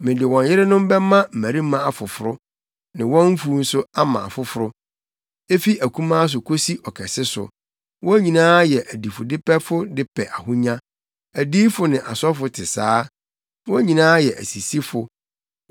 Mede wɔn yerenom bɛma mmarima afoforo ne wɔn mfuw nso ama afoforo. Efi akumaa so kosi ɔkɛse so, wɔn nyinaa yɛ adifudepɛfo de pɛ ahonya; adiyifo ne asɔfo te saa, wɔn nyinaa yɛ asisifo.